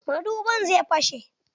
Madubin zai fashe.